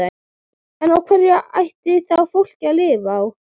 En á hverju ætlarðu þá fólkinu að lifa?